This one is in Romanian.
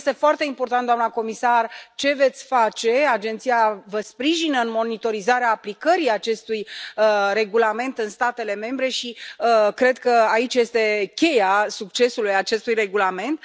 Este foarte important, doamna comisar, ce veți face, agenția vă sprijină în monitorizarea aplicării acestui regulament în statele membre și cred că aici este cheia succesului acestui regulament.